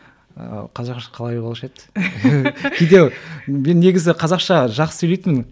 қазақша қалай болушы еді кейде мен негізі қазақша жақсы сөйлейтінмін